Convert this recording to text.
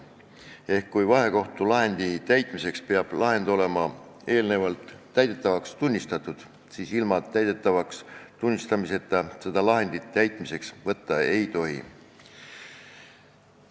Seega, kui vahekohtu lahendi täitmiseks peab lahend olema eelnevalt täidetavaks tunnistatud, siis ilma täidetavaks tunnistamiseta seda lahendit täitmiseks võtta ei tohi.